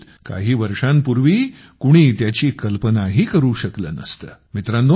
कदाचित काही वर्षांपूर्वी कुणी त्याची कल्पनाही करू शकलं नसतं